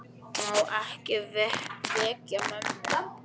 Má ekki vekja mömmu.